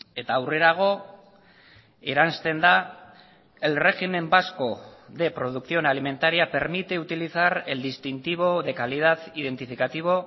eta aurrerago eransten da el régimen vasco de producción alimentaria permite utilizar el distintivo de calidad identificativo